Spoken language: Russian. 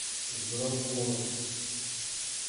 здравгород